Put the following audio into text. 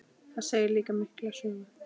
Það segir líka mikla sögu.